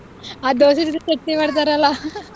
ಆ ದೋಸೆ ಜೊತೆ ಚಟ್ನಿ ಮಾಡ್ತಾರಲ್ಲ .